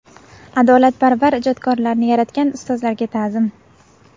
Adolatparvar ijodkorlarni yaratgan ustozlarga ta’zim.